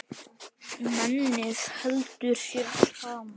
Mennið heldur sér saman.